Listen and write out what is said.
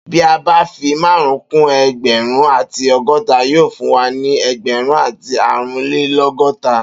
Bi a ba fi marun kun ẹẹgbẹrun ati ọgọta yóò fún wa ni egberun ati aárún le logota.